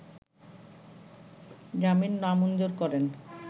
জামিন নামঞ্জুর করেন